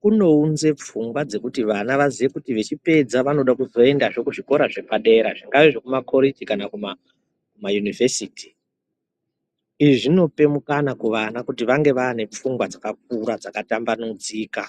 kunounze pfungwa dzekuti vana vaziye kuti vechipedza vanoda kuzoenda zvikora zvepadera zvakadai nekakoreji kana kumayunivhesiti izvi zvinope mukana kuvana kuti vange vane pfungwa dzakakura dzakatambanudzika.